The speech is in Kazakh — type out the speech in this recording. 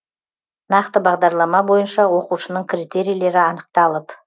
нақты бағдарлама бойынша оқушының критерийлері анықталып